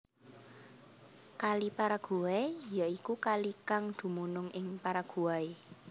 Kali Paraguay ya iku kalikang dumunung ing Paraguay